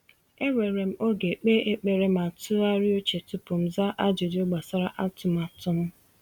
Ewere m oge kpee ekpere ma tụgharịa uche tupu m zaa ajụjụ gbasara atụmatụ m.